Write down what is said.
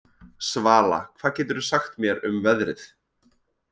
Svala, hvað geturðu sagt mér um veðrið?